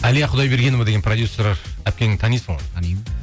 әлия құдайбергенова деген продюссер әпкеңді танисың ғой танимын